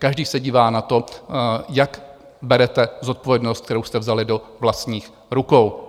Každý se dívá na to, jak berete zodpovědnost, kterou jste vzali do vlastních rukou.